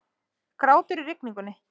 Grátur í rigningu.